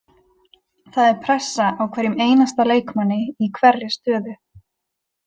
Það er pressa á hverjum einasta leikmanni í hverri stöðu.